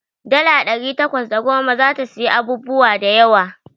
Dala ɗari takwas da goma zata siyi abubuwa da yawa.